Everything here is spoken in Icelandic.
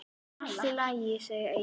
Allt í lagi, segir Egill.